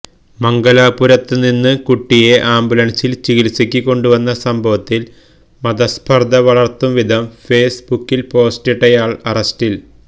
മംഗലാപുരത്ത് നിന്ന് കുട്ടിയെ ആംബുലന്സില് ചികിത്സക്ക് കൊണ്ടുവന്ന സംഭവത്തില് മതസ്പര്ധ വളര്ത്തും വിധം ഫേസ് ബുക്കില് പോസ്റ്റിട്ടയാള് അറസ്റ്റില്